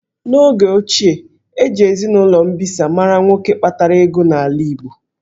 N'oge ochie, eji eninụlọ mbisa a mara nwoke kpatara ego n'ala Igbo